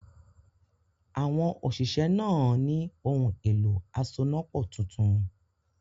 Àwọn òṣìṣẹ́ náà á ní “ohun-èlo asonápọ̀ tuntun